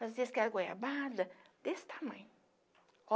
Fazia esquerda, goiabada, desse tamanho.